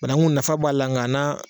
Banakun nafa b'a la, ng'a n'a